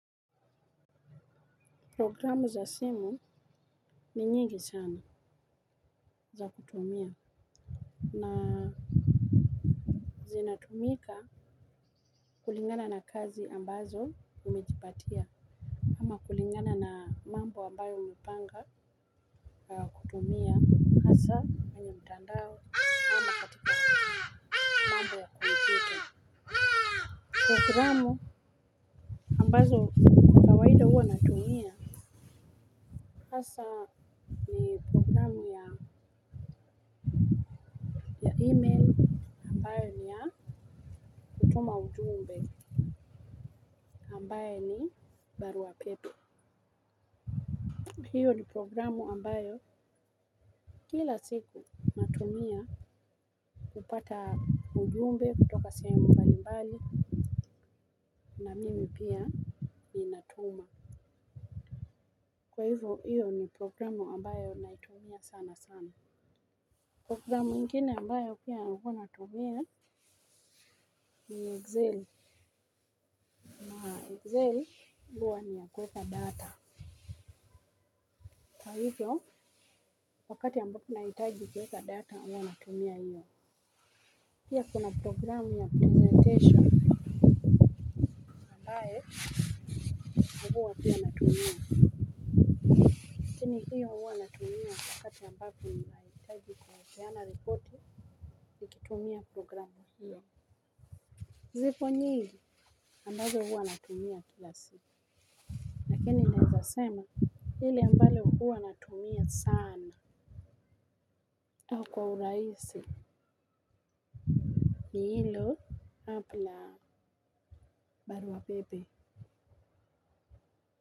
Programu za simu ni nyingi sana za kutumia. Na zinatumika kulingana na kazi ambazo umejipatia. Ama kulingana na mambo ambayo umepanga kutumia aza Tandao. Programu ambazo kawaida huwa natumia hasa ni program ya email ambayo ni ya kutuma ujumbe ambaye ni barua pepe. Hiyo ni programu ambayo kila siku natumia kupata ujumbe kutoka sehemu mbalimbali na mimi pia ninatuma. Kwa hivyo hiyo ni programu ambayo naitumia sana sana. Programu ingine ambayo pia hua natumia ni zeli. Zeli huwa ni ya kuweka data. Kwa hivyo wakati ambapo nahitaji kuweka data hua natumia hiyo. Pia kuna programu ya presentation. Ambaye huwa pia natumia lakini hiyo. Natumia wakati nahitaji kupeana ripoti natumia hiyo. Zipo nyingi ambayo huwa natumia kila siku. Yaani naweza sema ile ambayo huwa natumia sana kwa u rahisi ni hilo hapla barua pepe.